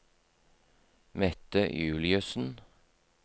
Mette Juliussen